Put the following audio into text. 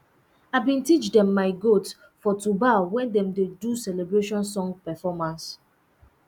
i been teach um my goat um to bow wen dem um do celebration song performance